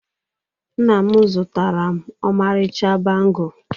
Nna m zụtara m ọmarịcha bangle